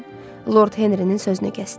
Dorian Lord Henrinin sözünü kəsdi.